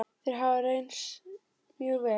Þeir hafa reynst mjög vel.